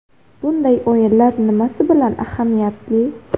Bunday o‘yinlar nimasi bilan ahamiyatli?